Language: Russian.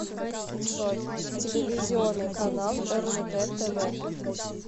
джой телевизионный канал ржд тв